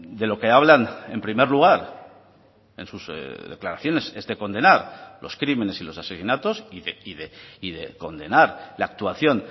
de lo que hablan en primer lugar en sus declaraciones es de condenar los crímenes y los asesinatos y de condenar la actuación